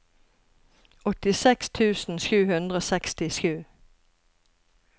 åttiseks tusen sju hundre og sekstisju